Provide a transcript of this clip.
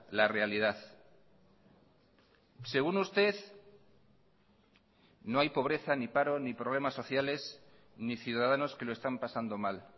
la realidad según usted no hay pobreza ni paro ni problemas sociales ni ciudadanos que lo están pasando mal